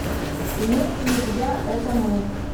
имеется ли у тебя это мы